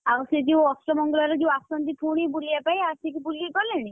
ଆଉ ସେ ଯୋଉ ଅଷ୍ଟମଙ୍ଗଳାରେ ଆସନ୍ତି ପୁଣି ବୁଲିବା ପାଇଁ ଆସିକି ବୁଲିକି ଗଲେଣି?